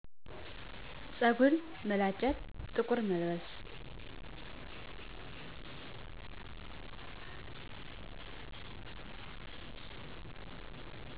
ፀጉር መላጨት ጥቁር መልበስ